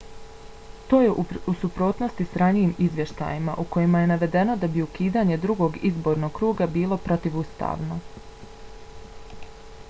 to je u suprotnosti s ranijim izvještajima u kojima je navedeno da bi ukidanje drugog izbornog kruga bilo protivustavno